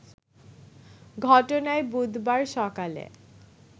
ঘটনায় বুধবার সকালে